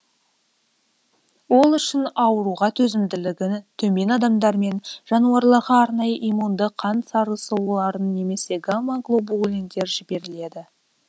ол үшін ауруға төзімділігі төмен адамдар мен жануарларға арнайы иммунды қан сарысуларын немесе гамма глобулиндер жіберіледі